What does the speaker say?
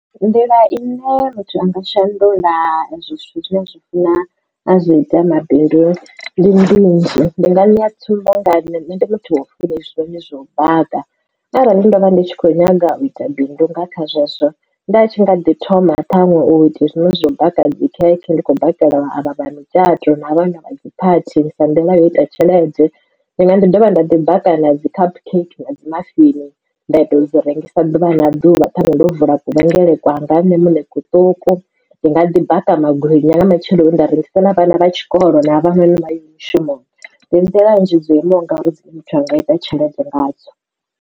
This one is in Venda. Nḓila ine muthu anga shandula hezwo zwithu zwine a zwi funa azwi ita mabidu ndi minzhi ndi nga ṋea tsumbo nga nṋe ndi muthu wa u funa izwo noni zwou baka arali ndo vha ndi tshi kho nyaga u ita bindu nga kha zwezwo nda tshi nga ḓi thoma ṱhaṅwe u ite zwino zwo baka dzi khekhe ndi kho bakela vha vha vha mitshatoni na vhana vha dzi phathini sa ndiḽa yo ita tshelede ndi nga ḓi dovha nda ḓi baka na dzi cup cake na dzi mafini nda ita dzi rengisa ḓuvha na ḓuvha ṱhaṅwe ndo vula kuvhele kwanga nne muṋe kuṱuku ndi nga ḓi baka magwinya nga matsheloni nda rengisela vhana vha tshikolo na havha noni vha yaho mushumoni ndi nḓila nnzhi dzo imaho ngauri dzine muthu anga ita tshelede nga dzo.